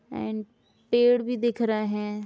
And पेड़ भी दिख रहे हैं।